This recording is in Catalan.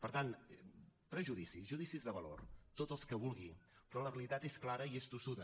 per tant prejudicis judicis de valor tots els que vulgui però la realitat és clara i és tossuda